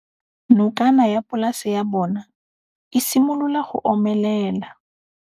Nokana ya polase ya bona, e simolola go omelela.